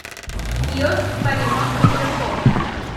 киоск по ремонту часов